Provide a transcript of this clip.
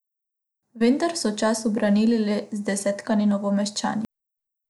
Vendar so čast ubranili le zdesetkani Novomeščani.